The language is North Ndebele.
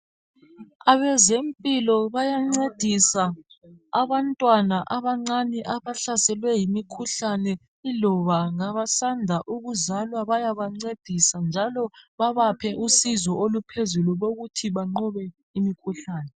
Abezempilakahle bayancedisa abantwana abancane abahlaselwe yimikhuhlane iloba abasanda kuzalwa bayabancedisa njalo babaphe usizo oluphezulu lokuthi banqobe imikhuhlane